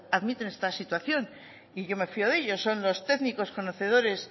admiten esta situación y yo me fio de ellos son los técnicos conocedores